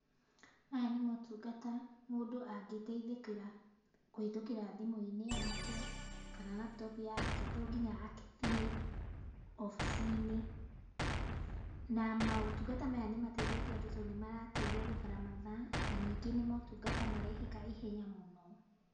Maya nĩ motungata mũndũ angĩteithĩkĩra kũhĩtũkĩra thimũ-inĩ yake kana laptop yake, tonginya akĩthiĩ obici-inĩ, na maũtungata maya nĩmateithĩtie andũ tondũ nĩmarateithia gũthara mathaa, na ningĩ nĩ motungata marehĩka ihenya mũno.